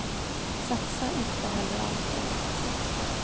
Satsa inte heller allt på en aktie.